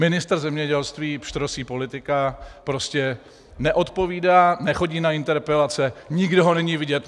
Ministr zemědělství, pštrosí politika, prostě neodpovídá, nechodí na interpelace, nikde ho není vidět.